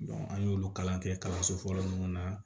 an y'olu kalan kɛ kalanso fɔlɔ mun na